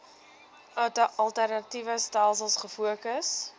alternatiewe stelsels gefokus